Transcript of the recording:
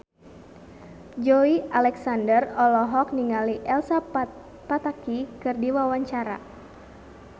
Joey Alexander olohok ningali Elsa Pataky keur diwawancara